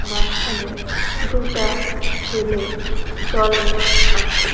মাঝখানে দুটা ছেলে জলে আছে।